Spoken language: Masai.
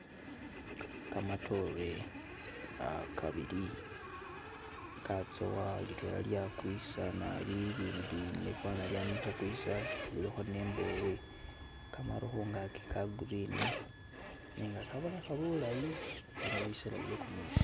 Kamatoore ah kabili katsowa litwela lya kwisa naabi ilindi faana ne lyama khukwisa lilikho ne imbobwe kamaru khungaki ka green biino bisela bye kumuusi.